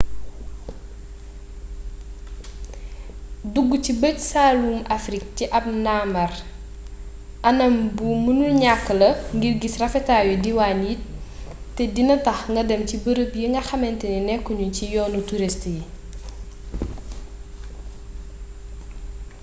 dugg ci bëj-saalumu afrik ci ab ndambaar anam mënul ñakk la ngir gis rafetaayu diiwaan yi te dina tax nga dem ci barab yi nga xamantane nekku ñu ci yoonu turist yi